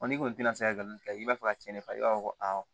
n'i kɔni tɛna se ka nin kɛ i b'a fɔ ka cɛn ne fa i b'a fɔ ko ayi